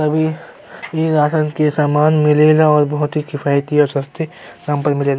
अबी ई राशन के सामान मिले ला और बहुत ही किफायती और सस्ते दाम पर मिले --